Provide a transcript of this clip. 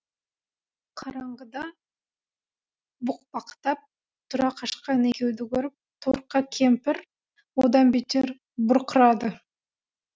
қараңғыда бұқпақтап тұра қашқан екеуді көріп торқа кемпір одан бетер бұрқырады